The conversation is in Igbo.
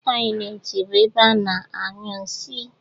Tọyịleetị bụ ebe a na-anyụ nsị